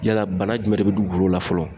Yala bana jumɛn de be dugukolo la fɔlɔ.